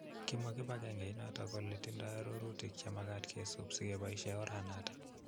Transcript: kimwa kibagenge inotok kole tindoi arorutik chemagaat kesup segeboishe oranotok